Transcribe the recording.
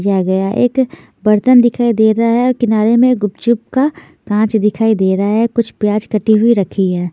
गया एक बर्तन दिखाई दे रहा है किनारे में गुपचुप का काँच दिखाई दे रहा है कुछ प्याज कटी हुई रखी है।